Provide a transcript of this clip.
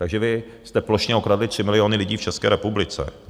Takže vy jste plošně okradli 3 miliony lidí v České republice.